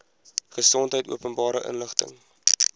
gesondheid openbare inligting